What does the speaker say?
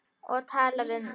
Og talar við hann.